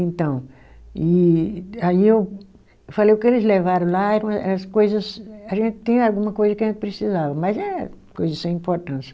Então, e aí eu falei, o que eles levaram lá eram uma, as coisas, a gente tinha alguma coisa que a gente precisava, mas é coisa sem importância.